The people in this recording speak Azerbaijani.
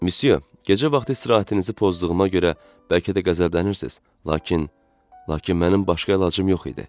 Msye, gecə vaxtı istirahətinizi pozduğuma görə bəlkə də qəzəblənirsiniz, lakin, lakin mənim başqa əlacım yox idi.